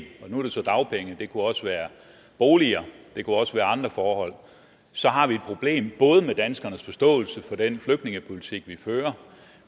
og nu er det så dagpenge det kunne også være boliger og det kunne også være andre forhold så har vi et problem både med danskernes forståelse for den flygtningepolitik vi fører